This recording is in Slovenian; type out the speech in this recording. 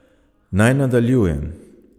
Naj nadaljujem.